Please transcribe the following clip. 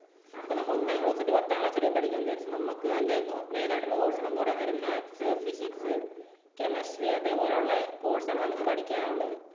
ഇപ്പോൾ നമ്മൾ ഒന്നാം class തൊട്ട് പത്താം class വരെ പഠിക്കുകയാണ് എന്ന് വിചാരിക്കുക. നമുക്ക് തന്നെ main ആയിട്ടുള്ള course എന്ന് പറയാൻ നേരം maths, physics, chemistry അതേപോലുള്ള course ആണ് നമുക്ക് പഠിക്കാനുള്ളത്.